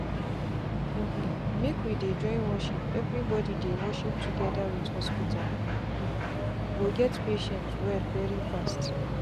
um make we dey join worship everybody dey worship together with hospital um go make patient well very fast.